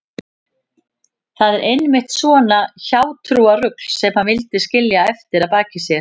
Það var einmitt svona hjátrúarrugl sem hann vildi skilja eftir að baki sér.